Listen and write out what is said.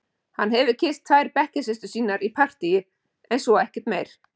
Hann hefur kysst tvær bekkjarsystur sínar í partíi en svo ekkert meira.